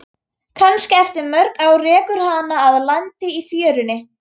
Kannski eftir mörg ár rekur hana að landi í fjörunni.